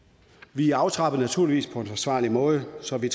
vi aftrapper naturligvis på en forsvarlig måde så vi